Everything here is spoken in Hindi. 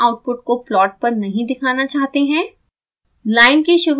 हम prediction आउटपुट को प्लाट पर नहीं दिखाना चाहते हैं